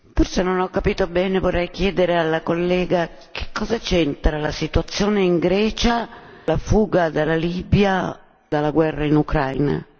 Forse non ho capito bene, vorrei chiedere alla collega che cosa c'entra la situazione in Grecia con la fuga dalla Libia o dalla guerra in Ucraina.